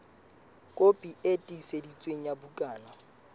kopi e tiiseditsweng ya bukana